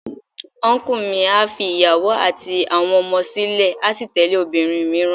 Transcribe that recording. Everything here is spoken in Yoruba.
Ọnkú mi a fi ìyàwó àti àwọn ọmọ sílè a sì tẹ̀lé obìnrin mìíràn.